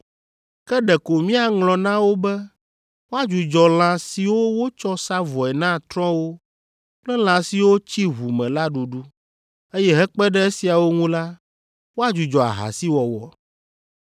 Ke ɖeko míaŋlɔ na wo be woadzudzɔ lã siwo wotsɔ sa vɔe na trɔ̃wo kple lã siwo tsi ʋu me la ɖuɖu, eye hekpe ɖe esiawo ŋu la, woadzudzɔ ahasiwɔwɔ.